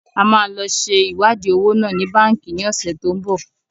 A máa lọ ṣe iwadi owó náà ni Báńkì ni ọ̀sẹ̀ tó ń bọ̀.